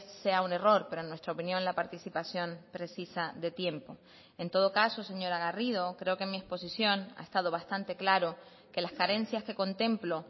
sea un error pero en nuestra opinión la participación precisa de tiempo en todo caso señora garrido creo que en mi exposición ha estado bastante claro que las carencias que contemplo